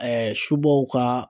subaw ka